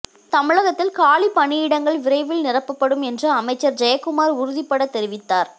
தமிழகத்தில் காலிப்பணியிடங்கள் விரைவில் நிரப்பப்படும் என்று அமைச்சர் ஜெயக்குமார் உறுதிப்பட தெரிவித்தார்